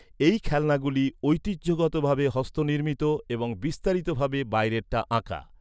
এই খেলনাগুলি ঐতিহ্যগতভাবে হস্তনির্মিত, এবং বিস্তারিত ভাবে বাইরেটা আঁকা।